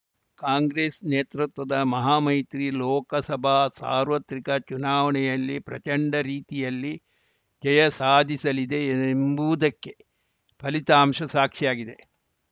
ಕಾಂಗ್ರೆಸ್‌ ನೇತೃತ್ವದ ಮಹಾಮೈತ್ರಿ ಲೋಕಸಭಾ ಸಾರ್ವತ್ರಿಕ ಚುನಾವಣೆಯಲ್ಲಿ ಪ್ರಚಂಡ ರೀತಿಯಲ್ಲಿ ಜಯ ಸಾಧಿಸಲಿದೆ ಎಂಬುವುದಕ್ಕೆ ಈ ಫಲಿತಾಂಶ ಸಾಕ್ಷಿಯಾಗಿದೆ